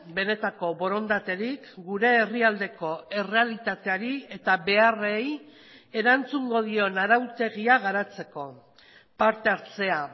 benetako borondaterik gure herrialdeko errealitateari eta beharrei erantzungo dion arautegia garatzeko parte hartzea